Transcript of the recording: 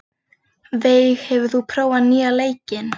Veig, hefur þú prófað nýja leikinn?